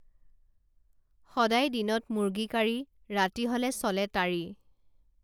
সদায় দিনত মুৰ্গী কাৰী ৰাতি হলে চলে তাড়ী